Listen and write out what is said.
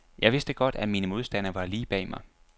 Jeg vidste godt, at mine modstandere var lige bag mig.